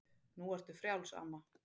Nú ertu frjáls, amma.